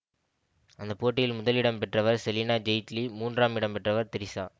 அந்த போட்டியில் முதல் இடம் பெற்றவர் செலினா ஜெயிட்லி மூன்றாம் இடம் பெற்றவர் திரிஷா